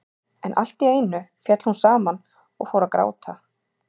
En allt í einu féll hún saman og fór að gráta.